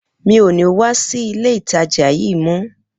Mi ò ní wá sí ilé ìtajà yí mo